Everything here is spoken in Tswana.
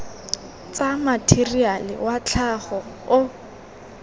tsa matheriale wa tlhago o